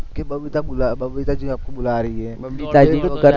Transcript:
કે બબીતા બુલાવે, બબીતાજી આપકો બુલા રહી હે